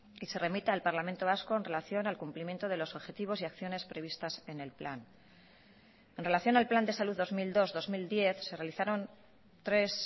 y se remita al parlamento vasco en relación al cumplimiento de los objetivos y acciones previstas en el plan en relación al plan de salud dos mil dos dos mil diez se realizaron tres